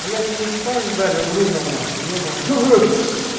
блять мне спайс дали в рудном нахуй ебаный в рот